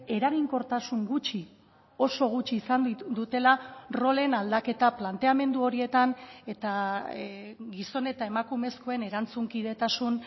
eraginkortasun gutxi oso gutxi izan dutela rolen aldaketa planteamendu horietan eta gizon eta emakumezkoen erantzunkidetasun